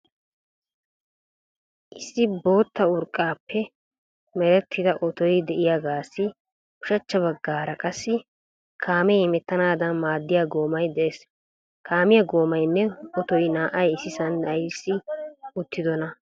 Issi bootta urqqan merettida otoy de"iyagaassi ushachcha baggaara qassi kaamee hemettanaadan maaddiya goomay de'ees. Kaamiya goomaynne otoy naa"ay issisan aybissi uttidonaa?